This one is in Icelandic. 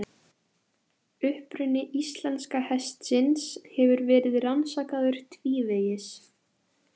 Þetta hleypti nýju lífi í fræðimennsku beggja landa en sættir voru ekki í sjónmáli.